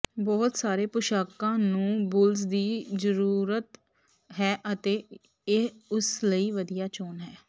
ਬਹੁਤ ਸਾਰੇ ਪੁਸ਼ਾਕਾਂ ਨੂੰ ਬੁਲਜ ਦੀ ਜ਼ਰੂਰਤ ਹੈ ਅਤੇ ਇਹ ਉਸ ਲਈ ਵਧੀਆ ਚੋਣ ਹੈ